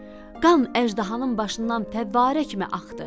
Qan əjdahanın başından təbarək kimi axdı.